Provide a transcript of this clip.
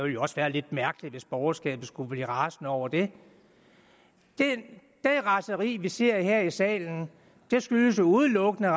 jo også være lidt mærkeligt hvis borgerskabet skulle blive rasende over det det raseri vil se her i salen skyldes udelukkende